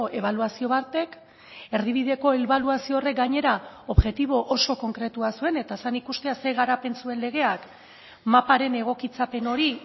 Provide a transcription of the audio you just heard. ebaluazio batek erdibideko ebaluazio horrek gainera objektibo oso konkretua zuen eta zen ikustea zein garapen zuen legeak maparen egokitzapen hori